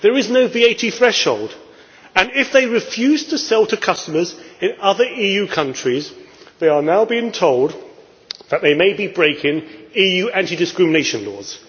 There is no VAT threshold and if they refuse to sell to customers in other EU countries they are now being told that they may be breaking EU anti discrimination laws.